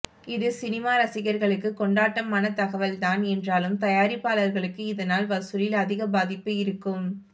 இது சினிமா ரசிகர்களுக்கு கொண்டாட்டமான தகவல் தான் என்றாலும் தயாரிப்பாளர்களுக்கு இதனால் வசூலில் அதிகம் பாதிப்பு இருக்கும்